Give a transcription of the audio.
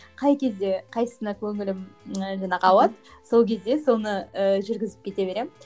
қай кезде қайсысына көңілім ііі жаңағы ауады сол кезде соны ііі жүргізіп кете беремін